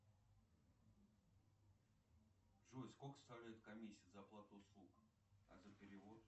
джой сколько составляет комиссия за оплату услуг а за перевод